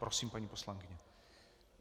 Prosím, paní poslankyně.